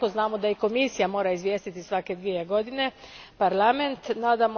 Isto tako znamo da i Komisija mora izvijestiti Parlament svako dvije godine.